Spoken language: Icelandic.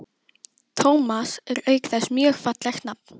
Tómas er auk þess mjög fallegt nafn.